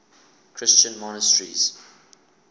christian monasteries